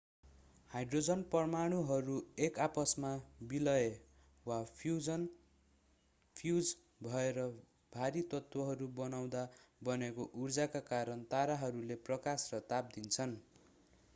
Hydrogen परमाणुहरू एक आपसमा विलय वा फ्यूज भएर भारी तत्वहरू बनाउँदा बनेको उर्जाका कारण ताराहरूले प्रकाश र ताप दिन्छन्।